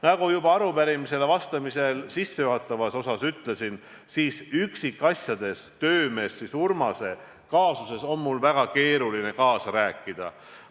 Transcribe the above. " Nagu ma juba arupärimisele vastamise sissejuhatavas osas ütlesin, üksikasjades töömees Urmase kaasuses on mul väga keeruline kaasa rääkida.